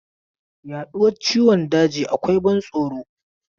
Yaduwar ciwon daji akwai ban tsoro.